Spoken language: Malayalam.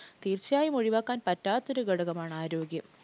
തീർച്ചയായും ഒഴിവാക്കാൻ പറ്റാത്തൊരു ഘടകമാണ് ആരോഗ്യം.